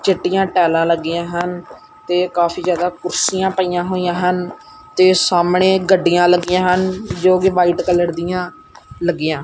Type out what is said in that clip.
ਚਿੱਟੀਆਂ ਟਾਈਲਾਂ ਲੱਗੀਆਂ ਹਨ ਤੇ ਕਾਫੀ ਜਿਆਦਾ ਕੁਰਸੀਆਂ ਪਈਆਂ ਹੋਈਆਂ ਹਨ ਤੇ ਸਾਹਮਣੇ ਗੱਡੀਆਂ ਲੱਗੀਆਂ ਹਨ ਜੋਕਿ ਵ੍ਹਾਈਟ ਕਲਰ ਦੀਆਂ ਲੱਗੀਆਂ।